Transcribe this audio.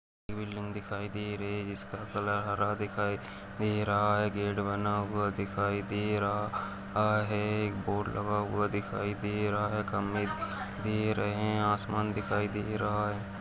बिल्डिंग दिखाई दे रही है जिसका कलर हरा दिखाई दे रहा है गेट बना हुआ दिखाई दे रहा रहा है एक बोर्ड लगा हुआ दिखाई दे रहा है खंबे दे रहें हैं आसमान दिखाई दे रहा है।